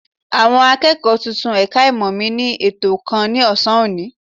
Àwọn akẹ́kọ̀ọ́ tuntun ẹ̀ka ìmọ̀ mi ní ètò kan ní ọ̀sán òní